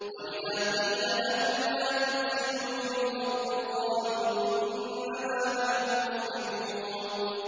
وَإِذَا قِيلَ لَهُمْ لَا تُفْسِدُوا فِي الْأَرْضِ قَالُوا إِنَّمَا نَحْنُ مُصْلِحُونَ